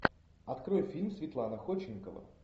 открой фильм светлана ходченкова